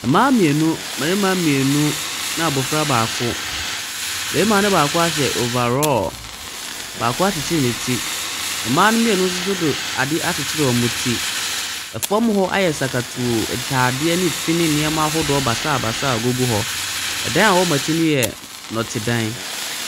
Mmaa mmienu, mmarima mmienu ɛna abɔfra baako. Barima no baako ahyɛ over raw, baako akyekyere ne ti. Mmaa no mmienu nso de adeɛ akyekyere wɔn ti. Fan hɔ ayɛ sakatuu; ntadeɛ ne fi ne nneɛma ahodoɔ basabasa gugu hɔ. Dan a ɛwɔ wɔn akyi no yɛ dɔtedan.